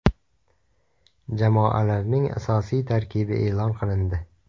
Jamoalarning asosiy tarkibi e’lon qilindi.